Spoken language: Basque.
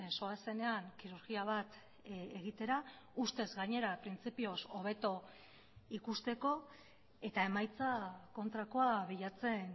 zoazenean kirurgia bat egitera ustez gainera printzipioz hobeto ikusteko eta emaitza kontrakoa bilatzen